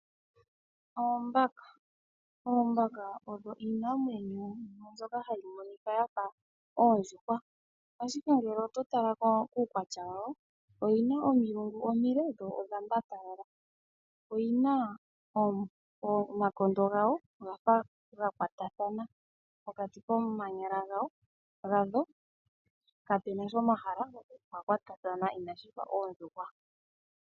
Oombaka iinamwenyo mbyoka hayi monika yafa oondjuhwa. Ashike ngele oto tala kuukwatya woyo oyina omilungu omile dho odha mbatalala. Omakaha gadho ogafa ga kwatathana pokati koomanyala gadho opwa kwatathana ina pufa oondjuhwa.